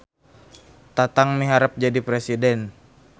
Tatang miharep jadi presiden